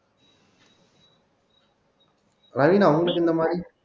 ராவின உங்களுக்கு இந்த மாதிரி